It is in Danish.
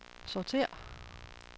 sortér